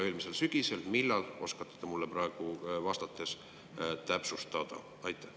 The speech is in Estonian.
Millal, äkki oskate te mulle praegu vastates täpsustada?